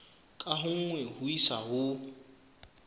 ka nngwe ho isa ho